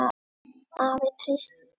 Afi treysti því.